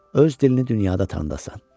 Öz dilini dünyada tanıdasan.